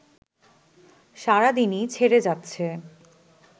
সারাদিনই ছেড়ে যাচ্ছে